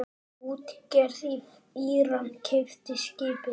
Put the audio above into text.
Útgerð í Íran keypti skipið.